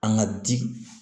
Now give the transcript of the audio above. An ka di